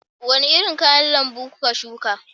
Wani irin kayan lambu kuka shuka